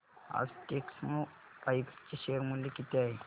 आज टेक्स्मोपाइप्स चे शेअर मूल्य किती आहे